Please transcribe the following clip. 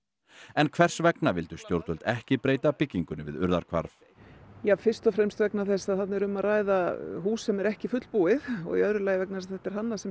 en hvers vegna vildu stjórnvöld ekki breyta byggingunni við Urðarhvarf fyrst og fremst vegna þess að þarna er um að ræða hús sem er ekki fullbúið og í öðru lagi vegna þess að þetta er hannað sem